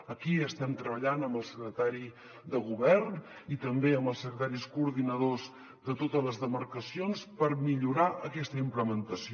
aquí estem treballant amb el secretari de govern i també amb els secretaris coordinadors de totes les demarcacions per millorar aquesta implementació